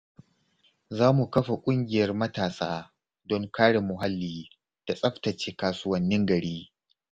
Za mu kafa ƙungiyar matasa don kare muhalli da tsaftace kasuwannin gari.